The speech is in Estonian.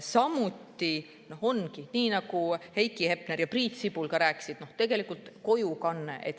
Samuti on nii, nagu Heiki Hepner ja Priit Sibul rääkisid, näiteks kojukandest.